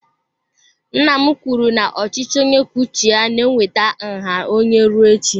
Nna m kwuru na ochichi onye kwuo uche ya na-eweta nha anya rue echi.